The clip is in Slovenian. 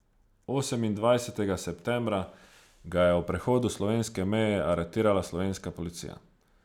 Osemindvajsetega septembra ga je ob prehodu slovenske meje aretirala slovenska policija.